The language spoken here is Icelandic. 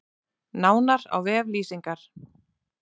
Nánar á vef Lýsingar